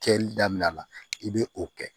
Kɛli daminɛ la i bɛ o kɛ